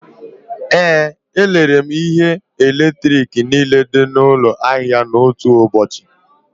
Ee, erere m ihe eletrik niile dị n'ụlọ ahịa n'otu ụbọchị